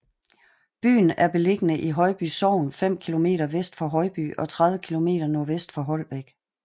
Byen er beliggende i Højby Sogn fem kilometer vest for Højby og 30 kilometer nordvest for Holbæk